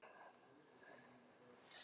Kærar þakkir, góði vinur.